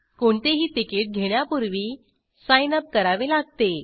कोणतेही तिकीट घेण्यापूर्वी सिग्नप करावे लागते